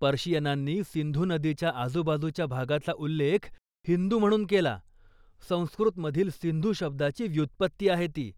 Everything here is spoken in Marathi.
पर्शियनांनी सिंधू नदीच्या आजूबाजूच्या भागाचा उल्लेख हिंदू म्हणून केला, संस्कुतमधील सिंधू शब्दाची व्युत्पत्ती आहे ती,